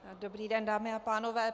Dobrý den, dámy a pánové.